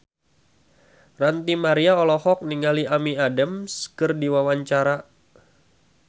Ranty Maria olohok ningali Amy Adams keur diwawancara